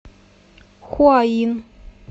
хуаин